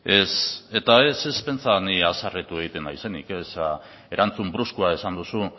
ez pentsa ni haserretu egiten naizenik erantzun bruskoa esan duzu